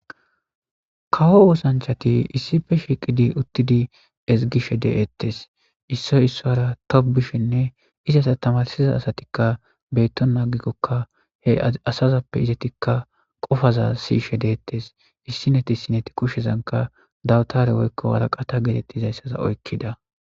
Kawo osanichati issipe shiqidi uttidi eziggishe deyetesi issoyi issuwara tobishene izata tamarisida assatika betona agikoka he asazape eti qofaza i'ishe detesi issineti isineti kushezani dawutara woyiko wariqata oyikida